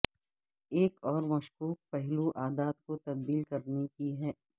ایک اور مشکوک پہلو عادات کو تبدیل کرنے کی ہے